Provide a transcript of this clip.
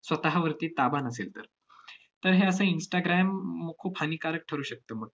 स्वतःवरती ताबा नसेल तर. तर हे असं instagram म~ खूप हानिकारक ठरू शकतं मग.